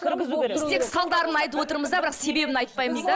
кіргізу керек біз тек салдарын айтып отырмыз да бірақ себебін айтпаймыз да